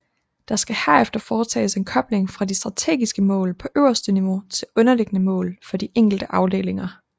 Der skal herefter foretages en kobling fra de strategiske mål på øverste niveau til underliggende mål for de enkelte afdelinger